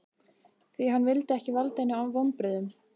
Því hann vildi ekki valda henni vonbrigðum.